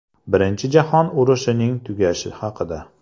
Birinchi jahon urushining tugashi haqida.